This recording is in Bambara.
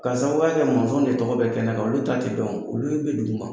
K'a sababuya kɛ mɔnzɔn de tɔgɔ bɛ kɛnɛ kan ,olu ta tɛ dɔn olu bɛ dugu ma.